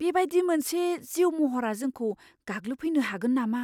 बेबायदि मोनसे जिउ महरा जोंखौ गाग्लोबफैनो हागोन नामा?